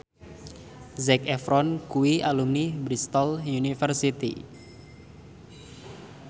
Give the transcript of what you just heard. Zac Efron kuwi alumni Bristol university